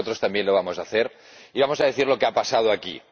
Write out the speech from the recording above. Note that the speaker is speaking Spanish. Nosotros también lo vamos a hacer y vamos a decir lo que ha pasado aquí.